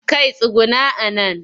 Kai tsuguna a nan!